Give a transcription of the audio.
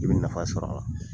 N ye nafa sɔrɔ a la !